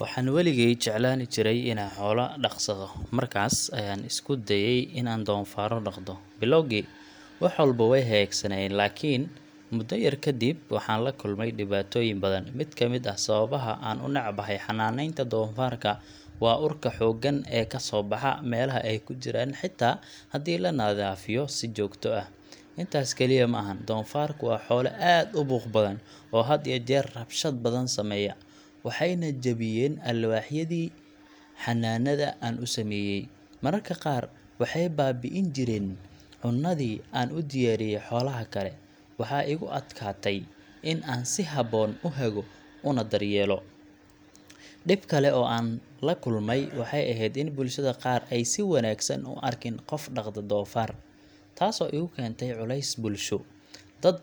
Waxaan weligay jeclaan jiray inaan xoolo dhaqsado, markaas ayaan isku dayay in aan doofaarro dhaqdo. Bilowgii, wax walba way hagaagsanaayeen, laakiin muddo yar kadib waxaan la kulmay dhibaatooyin badan. Mid ka mid ah sababaha aan u necbahay xanaaneynta doofaarka waa urka xooggan ee ka soo baxa meelaha ay ku jiraan, xitaa haddii la nadiifiyo si joogto ah. Intaas kaliya ma ahan doofaarku waa xoolo aad u buuq badan oo had iyo jeer rabshad badan sameeya, waxayna jabiyeen alwaaxyadii xannaanada aan u sameeyay. Mararka qaar waxay baabi’in jireen cunadii aan u diyaariyay xoolaha kale. Waxaa igu adkaatay in aan si habboon u hago oo aan daryeelo. Dhib kale oo aan la kulmay waxay ahayd in bulshada qaar aysan si wanaagsan u arkin qof dhaqda doofaar, taasoo igu keentay culays bulsho. Dad